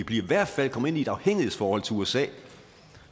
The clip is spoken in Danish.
i hvert fald ind i et afhængighedsforhold til usa